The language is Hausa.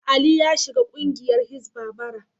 Ali ya shiga kungiyar Hisbah, bara.